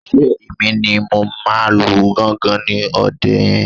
Ṣé Èmi ni mo máa lu gángan ní òde yẹn